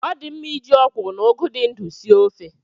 Ọ di mma iji ọ kwụrụ na ụgụ dị ndụ sie ofe.